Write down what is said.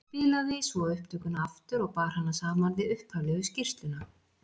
Spilaði svo upptökuna aftur og bar hana saman við upphaflegu skýrsluna.